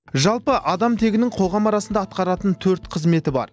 жалпы адам тегінің қоғам арасында атқаратын төрт қызметі бар